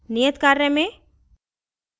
नियत कार्य में